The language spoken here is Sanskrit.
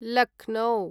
लक्नो